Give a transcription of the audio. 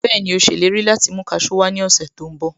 Bẹ́ẹ̀ni, Ó ṣèlérí láti mú kasú wá ní ọ̀sẹ̀ tó ń bọ̀